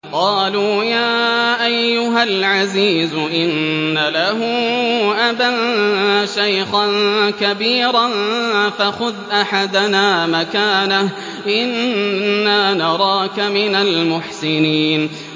قَالُوا يَا أَيُّهَا الْعَزِيزُ إِنَّ لَهُ أَبًا شَيْخًا كَبِيرًا فَخُذْ أَحَدَنَا مَكَانَهُ ۖ إِنَّا نَرَاكَ مِنَ الْمُحْسِنِينَ